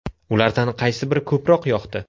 Ulardan qaysi biri ko‘proq yoqdi?